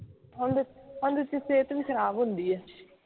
ਠੰਡ ਠੰਡ ਚ ਸਿਹਤ ਵੀ ਖਰਾਬ ਹੁੰਦੀ ਹੈ